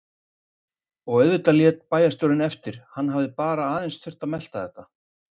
Og auðvitað lét bæjarstjórinn eftir, hann hafði bara aðeins þurft að melta þetta.